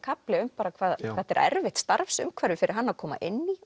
kafli um hvað þetta er erfitt starfsumhverfi fyrir hann að koma inn í